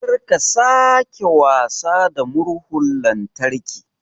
Kar ka sake wasa da murhun lantarki